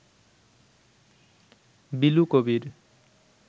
Bilu Kabir